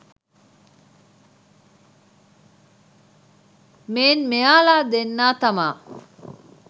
මේන් මෙයාලා දෙන්නා තමා